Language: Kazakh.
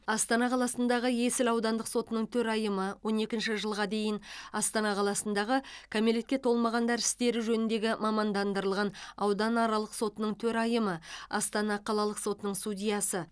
астана қаласындағы есіл аудандық сотының төрайымы он екінші жылға дейін астана қаласындағы кәмелетке толмағандар істері жөніндегі мамандандырылған ауданаралық сотының төрайымы астана қалалық сотының судьясы